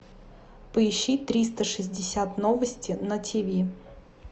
поищи триста шестьдесят новости на тв